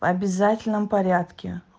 обязательном порядке